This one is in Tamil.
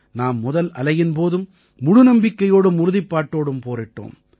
நாம் முதல் அலையின் போதும் முழு நம்பிக்கையோடும் உறுதிப்பாட்டோடும் போரிட்டோம்